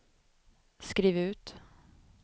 skriv ut